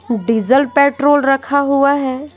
Diesel petrol रखा हुआ है।